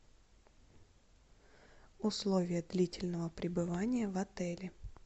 условия длительного пребывания в отеле